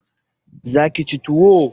Za ki ci tuwo?